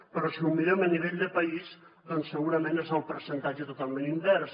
però si ho mirem a nivell de país doncs segurament és el percentatge totalment invers